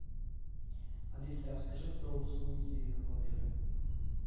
алиса расскажи про услуги в отеле